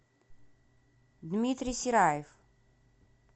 дмитрий сераев